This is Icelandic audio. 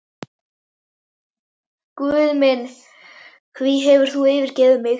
Guð minn, hví hefur þú yfirgefið mig?